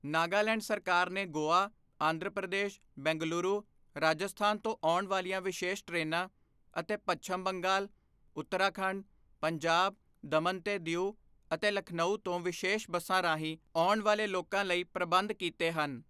ਨਾਗਾਲੈਂਡ ਸਰਕਾਰ ਨੇ ਗੋਆ, ਆਂਧਰ ਪ੍ਰਦੇਸ਼, ਬੰਗਲੁਰੂ ਰਾਜਸਥਾਨ ਤੋਂ ਆਉਣ ਵਾਲੀਆਂ ਵਿਸ਼ੇਸ਼ ਟ੍ਰੇਨਾਂ ਅਤੇ ਪੱਛਮ ਬੰਗਾਲ ਉੱਤਰਾਖੰਡ, ਪੰਜਾਬ, ਦਮਨ ਤੇ ਦੀਉ ਅਤੇ ਲਖਨਊ ਤੋਂ ਵਿਸ਼ੇਸ਼ ਬੱਸਾਂ ਰਾਹੀਂ ਆਉਣ ਵਾਲੇ ਲੋਕਾਂ ਲਈ ਪ੍ਰਬੰਧ ਕੀਤੇ ਹਨ।